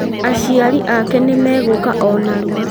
Aciari ake nĩmegũũka o narua